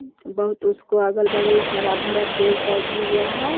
बहुत उसको अगल-बगल हरा-भरा पेड़-पौधा हुआ है।